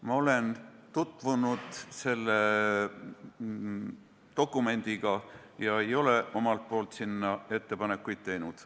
Ma olen tutvunud selle dokumendiga ega ole omalt poolt sinna ettepanekuid teinud.